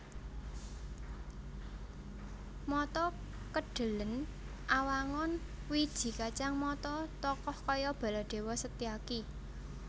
Mata Kedhelèn Awangun wiji kacang mata tokoh kaya Baladéwa Setyaki